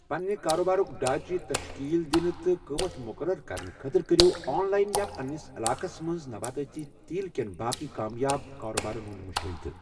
پننہِ کارٕبارک ڈھانٛچہِ تشکیٖل دِنہٕ تہٕ قۭمتھ مُقرر کرنہٕ خٲطرٕ کٔرِو آن لاین یا پنٛنِس علاقس منٛز نباتٲتی تیٖل کٮ۪ن باقٕے کامیاب کارٕبارن ہنٛد مُشٲہدٕ ۔